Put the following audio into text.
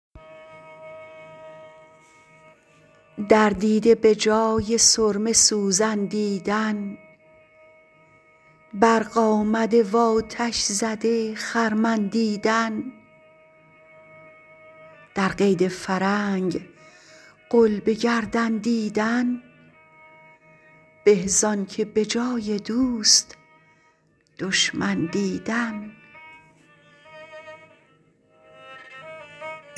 در دیده به جای سرمه سوزن دیدن برق آمده و آتش زده خرمن دیدن در قید فرنگ غل به گردن دیدن به زانکه به جای دوست دشمن دیدن